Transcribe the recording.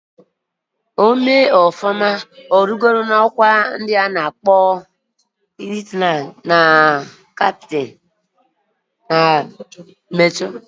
O mee ofuma, origo na okwa ndi ozo ana akpo lieutenant, captain na kwa major.